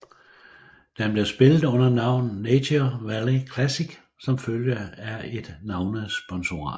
Den blev spillet under navnet Nature Valley Classic som følge af et navnesponsorat